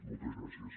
moltes gràcies